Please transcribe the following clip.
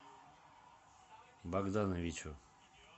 богдановичу